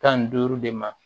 Tan ni duuru de ma